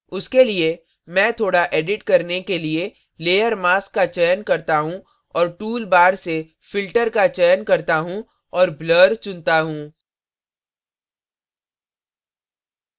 उसके लिए मैं थोड़ा edit करने के लिए layer mask का चयन करता choose और tool bar से filter का चयन करता choose और blur चुनता choose